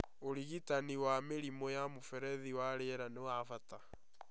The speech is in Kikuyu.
ũrigitani wa mĩrimũ ya mũberethi wa rĩera nĩ wa bata